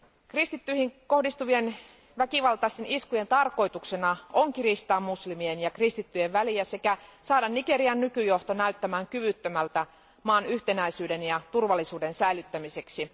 Kristittyihin kohdistuvien väkivaltaisten iskujen tarkoituksena on kiristää muslimien ja kristittyjen välejä sekä saada Nigerian nykyjohto näyttämään kyvyttömältä maan yhtenäisyyden ja turvallisuuden säilyttämiseksi.